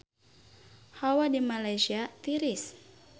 Hawa di Malaysia tiris